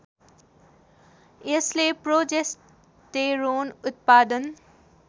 यसले प्रोजेस्टेरोन उत्पादन